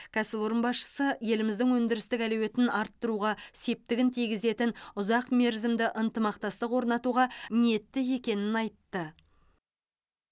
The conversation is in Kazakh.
кәсіпорын басшысы еліміздің өндірістік әлеуетін арттыруға септігін тигізетін ұзақ мерзімді ынтымақтастық орнатуға ниетті екенін айтты